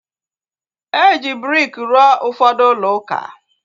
Eji briki rụọ ụfọdụ ulouka